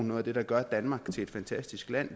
noget af det der gør danmark til et fantastisk land